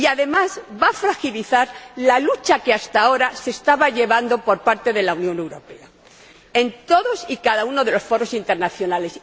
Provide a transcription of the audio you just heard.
Además, va a fragilizar la lucha que hasta ahora estaba llevando a cabo la Unión Europea en todos y cada uno de los foros internacionales.